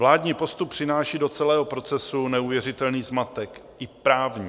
Vládní postup přináší do celého procesu neuvěřitelný zmatek, i právní.